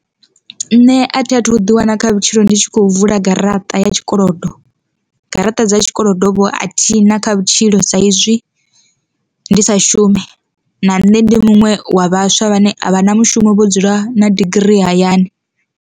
Nṋe a thi a thu ḓi wana kha vhutshilo ndi tshi kho vula garaṱa ya tshikolodo, garaṱa dza tshikolodo vho a thi na kha vhutshilo saizwi ndi sa shumi na nṋe ndi muṅwe wa vhaswa vhane a vha na mushumo vho dzula na digirii hayani.